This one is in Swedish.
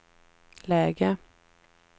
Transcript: läge